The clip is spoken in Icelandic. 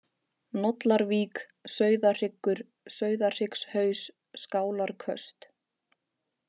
Nollarvík, Sauðahryggur, Sauðahryggshaus, Skálarköst